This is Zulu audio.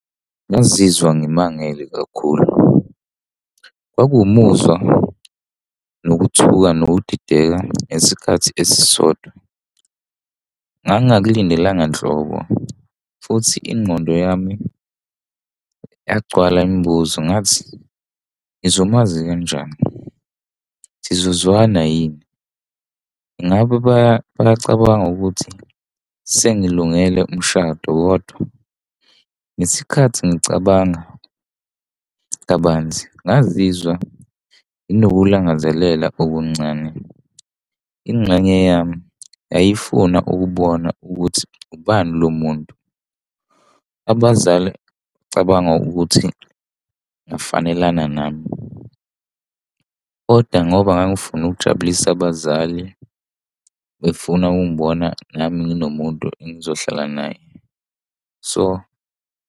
Ngizizwa ngimangele kakhulu. Kwakuwu muzwa, nokuthuka, nokudideka ngesikhathi esisodwa. Ngangingakulindelanga nhlobo, futhi ingqondo yami yagcwala imibuzo, ngathi, ngizomazi kanjani? Sizozwana yini? Ngabe bayacabanga ukuthi, sengilungele umshado kodwa? Ngesikhathi ngicabanga kabanzi, ngazizwa nginokulangazelela okuncane. Ingxenye yami yayifuna ukubona ukuthi ubani lo muntu? Ngabuza Ngicabanga ukuthi ngifanelana nami, kodwa ngoba ngangifuna ukujabulisa abazali befuna ukungibona nami nginomuntu engizohlala naye. So.